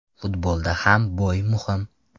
Futbolda ham bo‘y muhim.